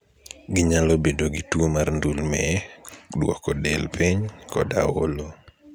Ginyalo bedo gi tuwo mar ndulme, duoko del piny, koda olo.